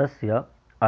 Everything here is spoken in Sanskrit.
तस्य